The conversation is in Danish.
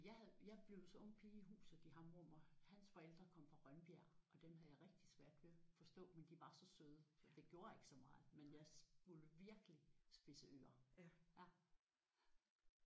Altså jeg havde jeg blev så ung pige i huset i Hammerup og hans forældre kom fra Rønbjerg og dem havde jeg rigtig svært ved at forstå men de var så søde så det gjorde ikke så meget men jeg måtte virkelig spidse ører